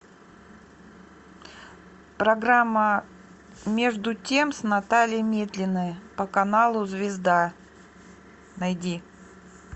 программа между тем с натальей метлиной по каналу звезда найди